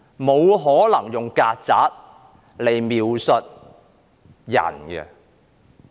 沒可能用"曱甴"來描述人的。